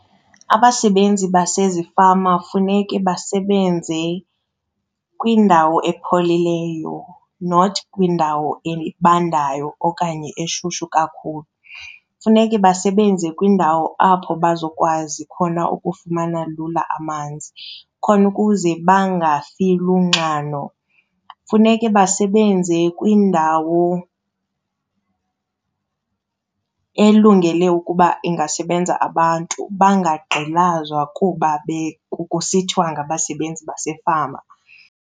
Abasebenzi basezifama funeke basebenze kwindawo epholileyo, not kwindawo ebandayo okanye eshushu kakhulu. Funeke basebenze kwindawo apho bazokwazi khona ukufumana lula amanzi khona ukuze bangafi lunxano. Funeke basebenze kwindawo elungele ukuba ingasebenza abantu, bangagqilazwa kuba kusithiwa ngabasebenzi basefama.